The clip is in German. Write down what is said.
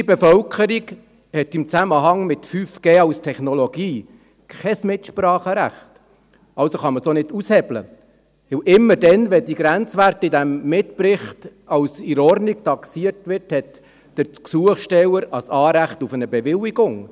Unsere Bevölkerung hat im Zusammenhang mit 5G als Technologie kein Mitspracherecht, also kann man es auch nicht aushebeln, denn immer dann, wenn die Grenzwerte in diesem Mitbericht als «in Ordnung» taxiert werden, hat der Gesuchsteller ein Anrecht auf eine Bewilligung.